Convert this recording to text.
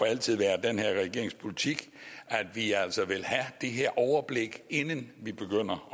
altid være den her regerings politik at vi altså vil have det her overblik inden vi begynder